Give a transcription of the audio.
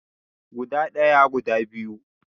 Guda daya, guda biyu